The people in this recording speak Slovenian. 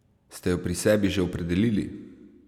Ste jo pri sebi že opredelili?